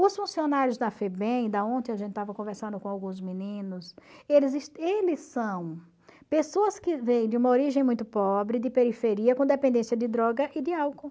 Os funcionários da FEBEM, da onde a gente estava conversando com alguns meninos, eles eles são pessoas que vêm de uma origem muito pobre, de periferia, com dependência de droga e de álcool.